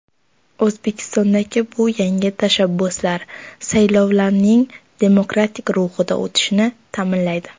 O‘zbekistondagi bu yangi tashabbuslar saylovlarning demokratik ruhda o‘tishini ta’minlaydi”.